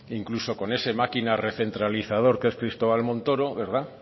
incluso con ese máquina recentralizador que es cristóbal montoro